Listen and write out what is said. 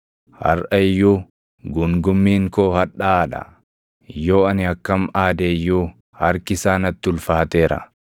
“Harʼa iyyuu guungummiin koo hadhaaʼaa dha; yoo ani akkam aade iyyuu harki isaa natti ulfaateera.